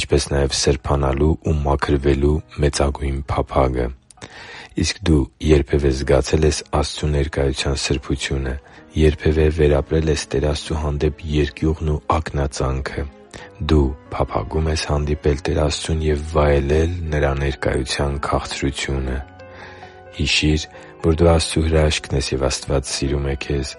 ինչպես նաև սրբանալու ու մաքրվելու մեծագույն փափագը։ Իսկ դու երբևէ զգացե՞լ ես Աստծու ներկայության սրբությունը։ Երբևէ վերապրե՞լ ես Տեր Աստծու հանդեպ երկյուղն ու ակնածանքը։ Դու փափագո՞ւմ ես հանդիպել Տեր Աստծուն և վայելել Նրա ներկայության քաղցրությունը․․․ Հիշի՛ր, որ դու Աստծո հրաշքն ես, և Աստված սիրում է քեզ։